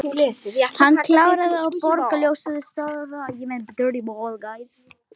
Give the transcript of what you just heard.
Hann kláraði úr bjórglasinu, stóð upp og stikaði að barnum.